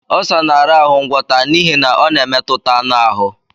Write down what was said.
Ọlsa na-arahụ ngwọta n'ihi na ọ na-emetụta anụ ahụ.